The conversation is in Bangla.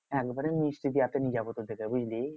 একবারে মিষ্টি দিয়াতে নিয়ে যাবো তোদেরকে বুঝলি?